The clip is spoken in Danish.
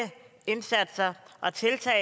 indsatser og tiltag